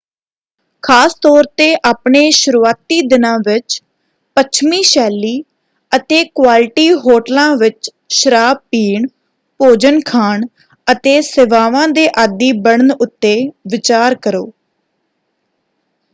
ਖ਼ਾਸ ਤੌਰ 'ਤੇ ਆਪਣੇ ਸ਼ੁਰੂਆਤੀ ਦਿਨਾਂ ਵਿੱਚ ਪੱਛਮੀ-ਸ਼ੈਲੀ ਅਤੇ -ਕੁਆਲਿਟੀ ਹੋਟਲਾਂ ਵਿੱਚ ਸ਼ਰਾਬ ਪੀਣ ਭੋਜਨ ਖਾਣ ਅਤੇ ਸੇਵਾਵਾਂ ਦੇ ਆਦੀ ਬਣਨ ਉੱਤੇ ਵਿਚਾਰ ਕਰੋ।